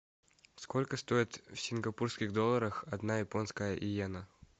сколько стоит в сингапурских долларах одна японская йена